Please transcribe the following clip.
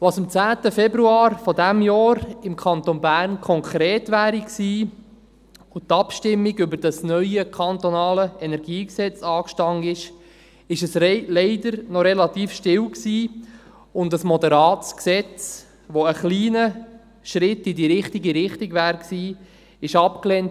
Als es am 10. Februar dieses Jahres im Kanton Bern konkret gewesen wäre und die Abstimmung über das neue KEnG anstand, war es leider noch relativ still, und ein moderates Gesetz, das einen kleinen Schritt in die richtige Richtung gewesen wäre, wurde abgelehnt.